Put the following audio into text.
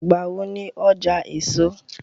Ìgbà wo ni ọjà èso?